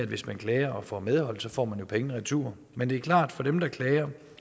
hvis man klager og får medhold får man pengene retur men det er klart at for dem der klager